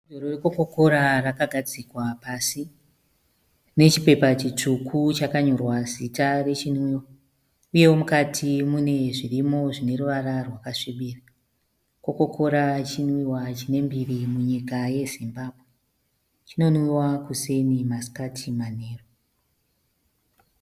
Bhodhoro reCoca Cola rakagadzikwa pasi. Rine chipepa chitsvuku chakanyorwa zita rechinwiwa uyewo mukati mune zvirimo zvineruvara rwakasvibira. Coca Cola chinwiwa chine mbiri munyika yeZimbabwe. Chinonwiwa kuseni, masikati nemanheru.